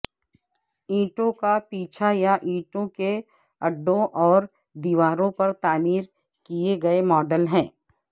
اینٹوں کا پیچھا یا اینٹوں کے اڈوں اور دیواروں پر تعمیر کیے گئے ماڈل ہیں